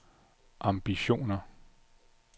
ambitioner